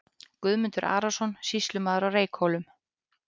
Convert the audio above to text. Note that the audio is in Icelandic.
Guðmundur Arason, sýslumaður á Reykhólum.